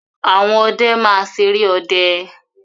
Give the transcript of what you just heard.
Àwọn ọdẹ máa ṣeré ọdẹ.